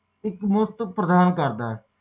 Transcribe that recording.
ਦਿੱਤੀ ਸਹਾਇਤਾ ਤੇ ਨਿਰਭਰ ਕਰਦਾ ਹੈ